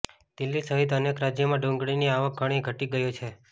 દિલ્હી સહિત અનેક રાજ્યોમાં ડુંગળીની આવક ઘણી ઘટી ગઈ છે